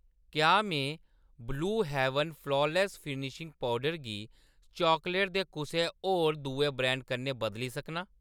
क्या में blue heaven flawless finishing powder गी चॉकलेट दे कुसै होर दुए ब्रैंड कन्नै बदली सकनां ?